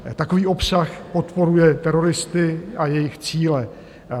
Takový obsah podporuje teroristy a jejich cíle.